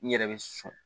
N yɛrɛ bɛ sɔn